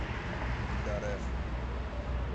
гедареф